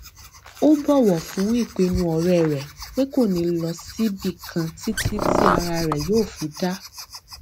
ó bòwò fún ìpinnu òré rè pé kò ní lọ síbi kan títí tí ara rẹ yóò fi dáa